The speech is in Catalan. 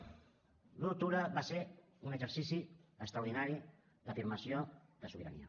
l’un d’octubre va ser un exercici extraordinari d’afirmació de sobirania